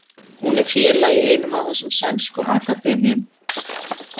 Hún er félagi í einum af þessum sænsku akademíum.